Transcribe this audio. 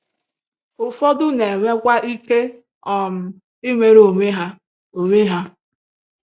Ụfọdụ na-enwekwa ike um inwere onwe ha. onwe ha.